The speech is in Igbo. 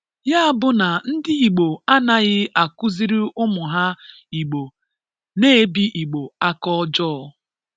Ya bụ na ndị Igbo a-anaghị akụziri ụmụ ha Igbo na-ebi Igbo aka ọjọọ.